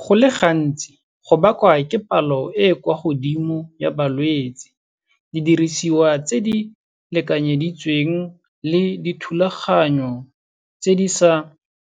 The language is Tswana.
Go le gantsi, go bakwa ke palo e e kwa godimo ya balwetsi, didirisiwa tse di lekanyeditsweng le dithulaganyo tse di sa